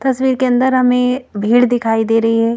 तस्वीर के अंदर हमें भीड़ दिखाई दे रही है।